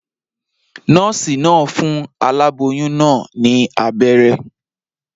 Nòòsì naa n fun aláboyún naa ní abéré